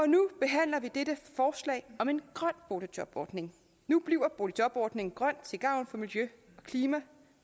nu behandler vi dette forslag om en grøn boligjobordning nu bliver boligjobordningen grøn til gavn for miljø klima